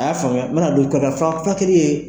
A y'a faamuya mana don furakɛli ye